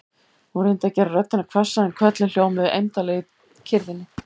Hún reyndi að gera röddina hvassa en köllin hljómuðu eymdarlega í kyrrðinni.